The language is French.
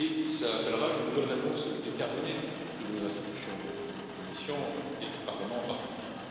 Cela appellera une nouvelle réponse déterminée de nos institutions, de la Commission et du Parlement, en particulier.